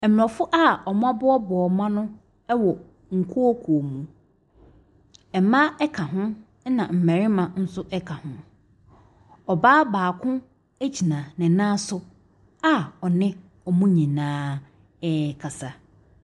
Mmorɔfo a wɔaboaboa wɔn ano wɔ nkuokuo mu. Mmaa ka ho, ɛna mmarima nso ka ho. Ɔbaa baako gyina ne nan so a ɔne wɔn nyinaa rekasa.